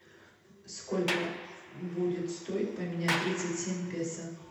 сколько будет стоить поменять тридцать семь песо